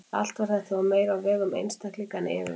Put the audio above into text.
Allt var þetta þó meira á vegum einstaklinga en yfirvalda.